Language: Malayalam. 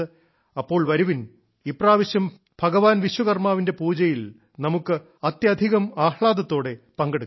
അപ്പോൾ വരുവിൻ ഇപ്രാവശ്യം ഭഗവാൻ വിശ്വകർമ്മാവിന്റെ പൂജയിൽ നമുക്ക് അത്യധികം ആഹ്ലാദത്തോടെ പങ്കെടുക്കാം